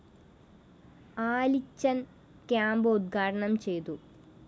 Alichan‍ camp ഉദ്ഘാടനം ചെയ്തു